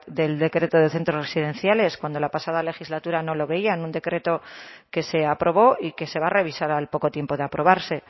del decreto de centros residenciales cuando la pasada legislatura no lo veían un decreto que se aprobó y que se va a revisar al poco tiempo de aprobarse